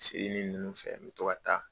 Seinin ninnu fɛ an bɛ to ka taa.